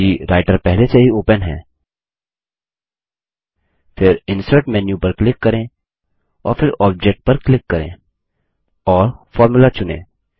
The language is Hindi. यदि रायटर पहले से ही ओपन है फिर इंसर्ट मेन्यू पर क्लिक करें और फिर ऑब्जेक्ट पर क्लिक करें और फॉर्मुला चुनें